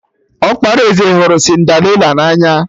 Ọkpara eze hụrụ Cinderịla na anya